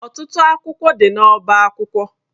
Ọtụtụ akwụkwọ dị n'ọba akwụkwọ.